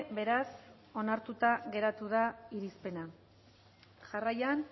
beraz onartuta geratu da irizpena jarraian